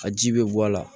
Ka ji bɛ bɔ a la